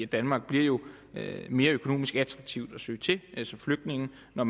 danmark bliver jo mere økonomisk attraktivt at søge til som flygtning når